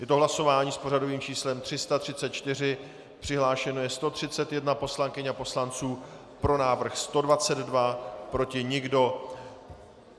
Je to hlasování s pořadovým číslem 334, přihlášeno je 131 poslankyň a poslanců, pro návrh 122, proti nikdo.